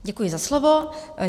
Děkuji za slovo.